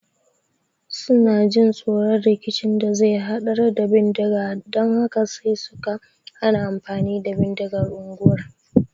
Suna jin tsoron rikicin da zai hadar da bindiga dan haka sai suka hana amfani da bindiga unguwar